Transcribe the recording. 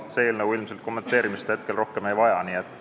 See eelnõu praegu ilmselt rohkem kommenteerimist ei vaja.